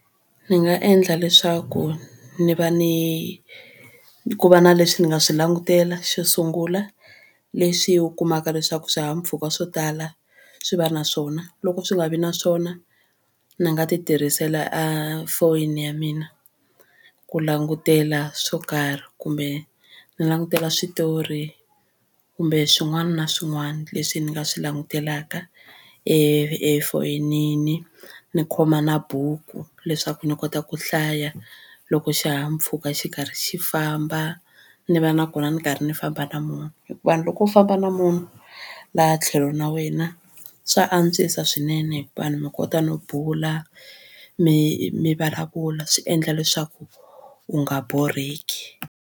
Ni nga endla leswaku ni va ni ku va na leswi ni nga swi langutela xo sungula leswi u kumaka leswaku swihahampfhuka swo tala swi va na swona loko swi nga vi na swona ni nga titirhisela a foyini ya mina ku langutela swo karhi kumbe ni langutela switori kumbe swin'wana na swin'wana leswi ni nga swi langutelaka e efonini ni khoma na buku leswaku ni kota ku hlaya loko xihahampfhuka xi karhi xi famba ni va nakona ni karhi ni famba na munhu hikuva loko u famba na munhu laha tlhelo na wena swa antswisa swinene hikuva mi kota no bula mi mi vulavula swi endla leswaku u nga borheki.